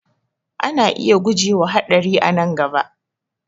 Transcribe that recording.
Ana iya guje wa haɗari a nan gaba